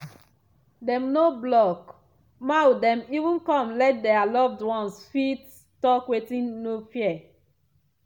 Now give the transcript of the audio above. dem no block mouth dem even come let dia loved ones fit talk wit no fear.